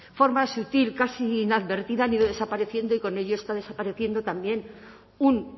forma sutil casi inadvertida han ido desapareciendo y con ello está desapareciendo también un